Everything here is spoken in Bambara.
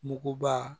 Muguba